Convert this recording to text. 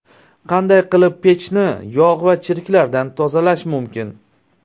Qanday qilib pechni yog‘ va chirklardan tozalash mumkin?